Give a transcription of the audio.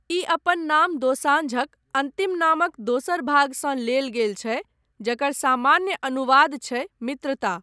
ई अपन नाम दोसांझक अन्तिम नामक दोसर भागसँ लेल गेल छै जकर सामान्य अनुवाद छै मित्रता।